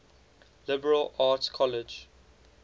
liberal arts college